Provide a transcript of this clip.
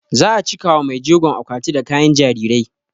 Za a cika wa maijegon akwati da kayan jarirai